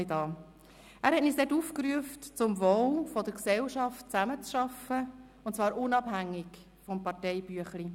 Er rief uns damals auf, zum Wohl der Gesellschaft zusammenzuarbeiten, und zwar unabhängig vom Parteibüchlein.